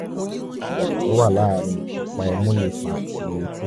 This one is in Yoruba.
ìyàtọ̀ tó wà láàárín ọ̀pá imú lè fa ìró etí